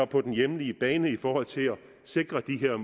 på den hjemlige bane i forhold til at sikre de